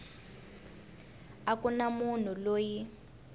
a ku na munhu loyi